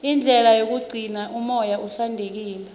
indlela yokugcina umoya uhlantekile